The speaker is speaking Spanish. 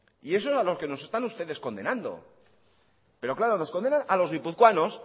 y eso es a lo que nos están ustedes condenando pero claro nos condenan a los guipuzcoanos